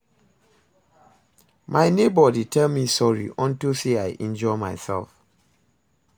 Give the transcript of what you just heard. My neighbor dey tell me sorry unto say I injure myself